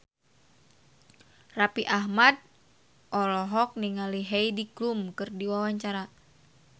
Raffi Ahmad olohok ningali Heidi Klum keur diwawancara